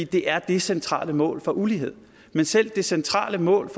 det er det centrale mål for uligheden men selv det centrale mål